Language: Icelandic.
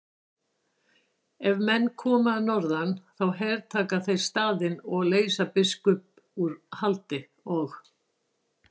Ef menn koma að norðan þá hertaka þeir staðinn og leysa biskupinn úr haldi og.